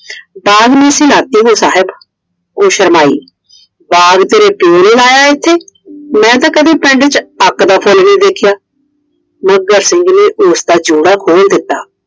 बाघ में से लात्ती हु साहब । ਉਹ ਸ਼ਰਮਾਈ, ਬਾਗ ਤੇਰੇ ਪਿਓ ਨੇ ਲਾਇਆ ਇਥੇ ਮੈਂ ਤਾਂ ਕਦੇ ਪਿੰਡ ਵਿੱਚ ਅੱਕ ਦਾ ਫੁੱਲ ਨਹੀਂ ਦੇਖਿਆ I ਮੱਘਰ ਸਿੰਘ ਨੇ ਉਸਦਾ ਜੂੜਾ ਖੋਲ ਦਿੱਤਾ ।